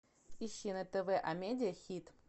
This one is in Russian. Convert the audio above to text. ищи на тв амедиа хит